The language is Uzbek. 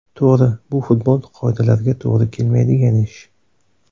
To‘g‘ri, bu futbol qoidalariga to‘g‘ri kelmaydigan ish.